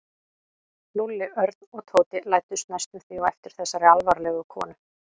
Lúlli, Örn og Tóti læddust næstum því á eftir þessari alvarlegu konu.